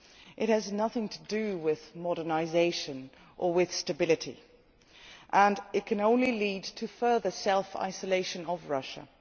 It has nothing to do with modernisation or with stability and it can only lead to further self isolation of Russia.